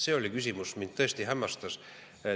See oli asi, mis mind tõesti hämmastas.